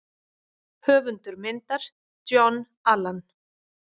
Höfundur myndar: John Allan.